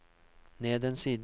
ned en side